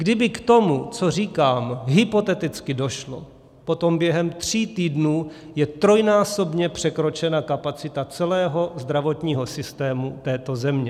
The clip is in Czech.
Kdyby k tomu, co říkám, hypoteticky došlo, potom během tří týdnů je trojnásobně překročena kapacita celého zdravotního systému této země.